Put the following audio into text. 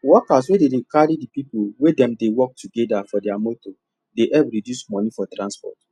workers wey dey carry the people wey dem dey work together for their motor dey help reduce money for transport